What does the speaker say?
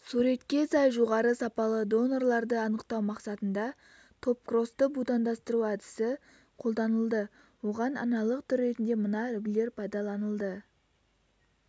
суретке сай жоғары сапалы донорларды анықтау мақсатында топкросты будандастыру әдісі қолданылды оған аналық түр ретінде мына үлгілер пайдаланылды